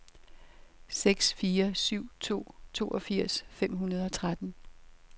seks fire syv to toogfirs fem hundrede og tretten